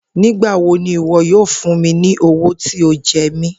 Nigbawo ni iwọ yoo fun mi ni owo ti o jẹ mi?